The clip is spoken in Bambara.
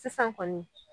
Sisan kɔni